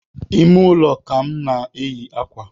Ime ụlọ ka m na-enyi akwa